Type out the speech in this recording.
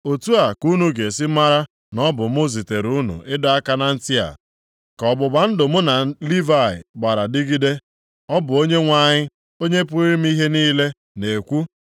Otu a ka unu ga-esi mara na ọ bụ mụ zitere unu ịdọ aka na ntị a, ka ọgbụgba ndụ mụ na Livayị gbara dịgide,” Ọ bụ Onyenwe anyị, Onye pụrụ ime ihe niile, na-ekwu.